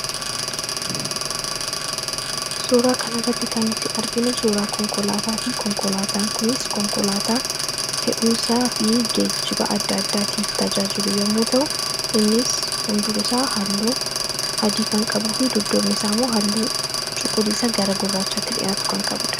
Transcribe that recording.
suuraa kanarratti kan nuti arginu suuraa konkolaataatii konkolaataa kunis konkolaataa fe'umsaa fi geejjiba adda addaatiif tajaajilu yommuu ta'u innis fundurisaa halluu adii kan qabuu fi duddoofnisaa ammoo halluu cuquliisa gara gurraachaatti dhi'aatu kanqabuudha